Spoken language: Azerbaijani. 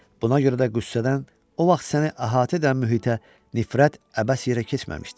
Buna görə də qüssədən o vaxt səni əhatə edən mühitə nifrət əbəs yerə keçməmişdi.